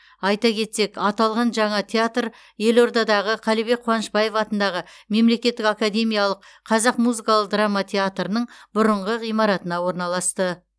айта кетсек аталған жаңа театр елордадағы қалібек қуанышбаев атындағы мемлекеттік академиялық қазақ музыкалық драма театрының бұрынғы ғимаратына орналасты